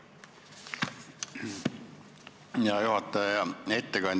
Hea juhataja ja ettekandja!